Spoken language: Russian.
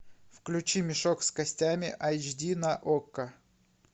включи мешок с костями айч ди на окко